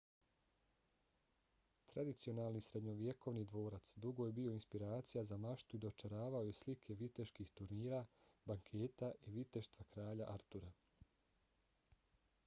tradicionalni srednjovjekovni dvorac dugo je bio inspiracija za maštu i dočaravao je slike viteških turnira banketa i viteštva kralja artura